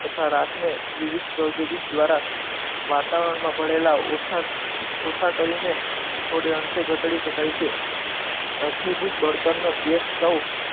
તથા રાખને વિવિધ ઔદ્યોગિક દ્વારા વાતાવરણમાં ભરેલા ઓછા ઓછા કરીને થોડે અંશે ઘટાડી શકાય છે. અશ્મિભૂત બળતણનો ગેસ સ્ટવ,